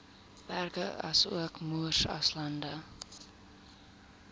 berge asook moeraslande